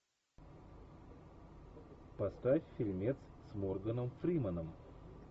поставь фильмец с морганом фрименом